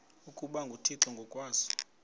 ukuba nguthixo ngokwaso